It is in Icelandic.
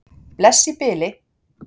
Bless í bili.